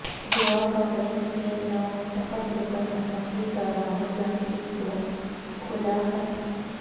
گوا کانگریس کے نومنتخب رکن اسمبلی کا راہل گاندھی کو کھلا خط